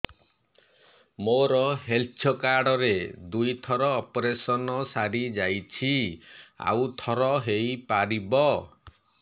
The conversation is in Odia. ମୋର ହେଲ୍ଥ କାର୍ଡ ରେ ଦୁଇ ଥର ଅପେରସନ ସାରି ଯାଇଛି ଆଉ ଥର ହେଇପାରିବ